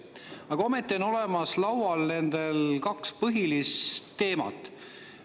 Aga ometi on nendel laual kaks põhilist teemat.